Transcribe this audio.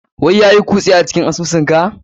Wa yayui cuse cikin asusun ka?